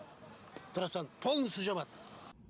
трассаны полностью жабад